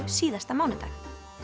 síðasta mánudag